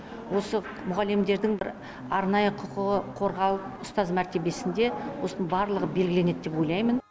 осы мұғалімдердің бір арнайы құқығы қорғалып ұстаз мәртебесінде осының барлығы белгіленеді деп ойлаймын